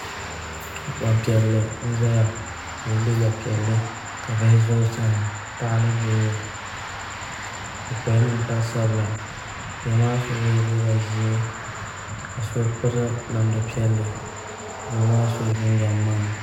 Gbanpiɛli n ʒɛya o yɛla liiga piɛlli ka bihi ʒɛ o sani paɣa ni doo o kpala ninkpari sabila bihi maa so yɛla liiga ʒiɛ ka so piri namda piɛlli doo maa sila jinjɛm ŋmaa